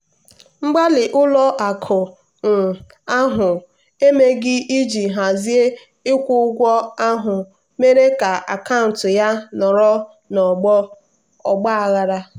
mgbalị ụlọ akụ um ahụ emeghị iji hazie ịkwụ ụgwọ ahụ mere ka akaụntụ ya nọrọ n'ọgba aghara.